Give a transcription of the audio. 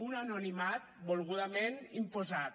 un anonimat volgudament imposat